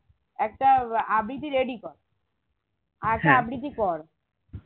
একটা আহ আবৃতি ready কর আবৃতি কর